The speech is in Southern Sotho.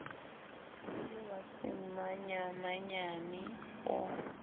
e le wa semanyamanyane o